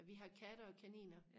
ja vi har katte og kaniner